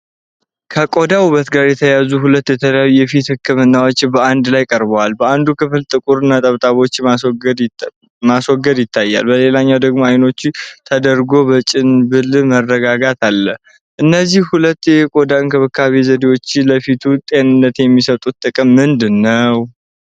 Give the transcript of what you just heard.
ከቆዳ ውበት ጋር የተያያዙ ሁለት የተለያዩ የፊት ህክምናዎች በአንድ ላይ ቀርበዋል። በአንዱ ክፍል ጥቁር ነጥቦችን ማስወገድ ሲታይ፣ በሌላኛው ደግሞ አይኖች ተደርጎ በጭንብል መረጋጋት አለ። እነዚህ ሁለት የቆዳ እንክብካቤ ዘዴዎች ለፊቱ ጤንነት የሚሰጡት ጥቅም ምንድን ነው?